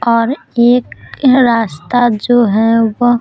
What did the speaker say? और एक रास्ता जो है वो --